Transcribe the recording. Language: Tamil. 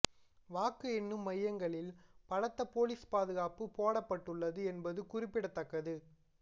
வாக்கு எண்ணும் மையங்களில் பலத்த போலீஸ் பாதுகாப்பு போடப்பட்டுள்ளது என்பது குறிப்பிடத்தக்கது